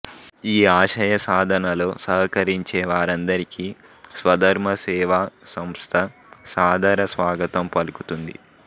ఈ ఆశయ సాధనలో సహకరించే వారందరికి స్వధర్మ సేవా సంస్థ సాదర స్వాగతం పలుకుతుంది